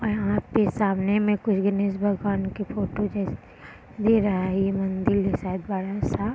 और यहाँ पे सामने में कुछ गणेश भगवान की फोटो जैसा दिखाई दे रहा है यह मंदिर है शायद बड़ा सा।